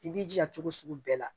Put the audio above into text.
I b'i jija cogo sugu bɛɛ la